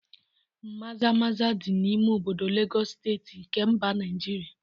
Maza maza di n'ime obodo Legọs steeti nke mba Naịjirịa